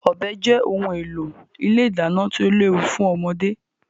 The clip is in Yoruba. Ọ̀bẹ jẹ́ ohun èlò ilé ìdáná tí ó léwu fún ọmọdé.